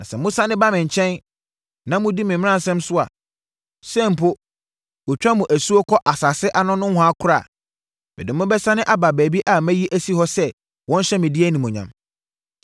Na sɛ mosane ba me nkyɛn, na modi me mmaransɛm so a, sɛ mpo, wɔatwa mo asuo kɔ asase ano nohoa koraa a, mede mo bɛsane aba baabi a mayi asi hɔ sɛ wɔnhyɛ me din animuonyam.’